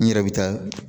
N yɛrɛ bɛ taa